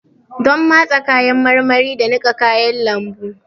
Donn matse kayan marmari da niƙa kayan lambu.